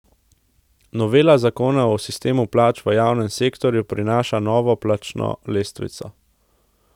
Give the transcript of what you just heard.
Novela zakona o sistemu plač v javnem sektorju prinaša novo plačno lestvico.